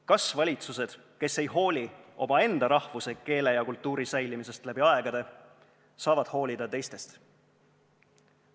Kas valitsused, kes ei hooli omaenda rahvuse, keele ja kultuuri säilimisest läbi aegade, saavad hoolida teistest?